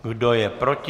Kdo je proti?